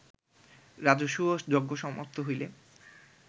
রাজসূয় যজ্ঞ সমাপ্ত হইলে